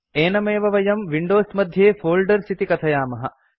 एनमेव वयं विंडोज मध्ये फोल्डर्स् इति कथयामः